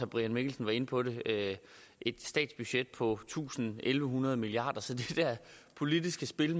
brian mikkelsen var inde på det et statsbudget på tusind tusind en hundrede milliard kr så det der politiske spil